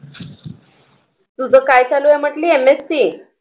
तुझं काय चालू आहे म्हंटली MSc